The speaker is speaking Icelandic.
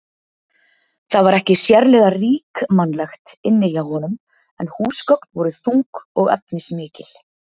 Það var ekki sérlega ríkmannlegt inni hjá honum en húsgögn voru þung og efnismikil.